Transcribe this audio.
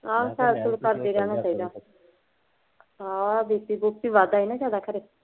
ਆਹ ਸੈਰ ਸੂਰ ਕਰਦੇ ਰਹਿਣਾ ਚਾਹੀਦਾ। BP, ਬੂ ਪੀ ਵਧਦਾ ਹੋਵੇ ਨਾ ਥੋੜਾ ਫਰਕ